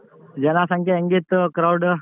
ಜನಸಂಖ್ಯೆ ಹೆಂಗಿತ್ತು crowd?